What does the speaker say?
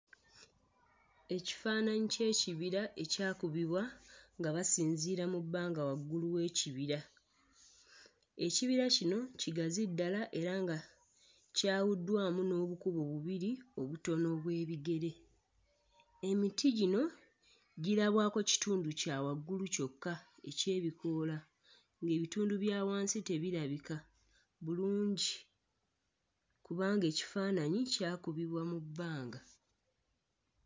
Ekifaananyi ky'ekibira ekyakubibwa nga basinziira mu bbanga waggulu w'ekibira. Ekibira kino kigazi ddala era nga kyawuddwamu n'obukubo bubiri obutono obw'ebigere. Emiti gino girabwako kitundu kya waggulu kyokka eky'ebikoola ng'ebitundu bya wansi tebirabika bulungi kubanga ekifaananyi kyakubibwa mu bbanga.